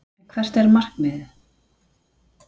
En hvert er markmiðið?